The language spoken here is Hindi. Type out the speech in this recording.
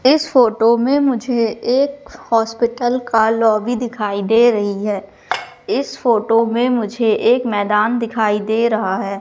इस फोटो में मुझे एक हॉस्पिटल का लॉबी दिखाई दे रही है। इस फोटो में मुझे एक मैदान दिखाई दे रहा है।